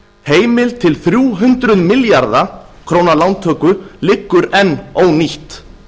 heimild til þrjú hundruð milljarða króna lántöku liggur enn ónýtt